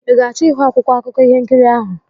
Ị ga-achọ ịhụ akwụkwọ akụkọ ihe nkiri ahụ?